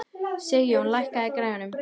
Sigjón, lækkaðu í græjunum.